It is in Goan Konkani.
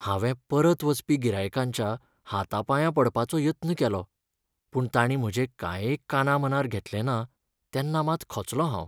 हांवें परत वचपी गिरायकांच्या हातापांयां पडपाचो यत्न केलो. पूण तांणी म्हजें कांय एक कानामनार घेतलें ना, तेन्ना मात खचलों हांव.